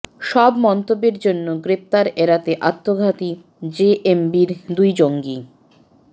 সব মন্তব্যের জন্য গ্রেপ্তার এড়াতে আত্মঘাতী জেএমবির দুই জঙ্গি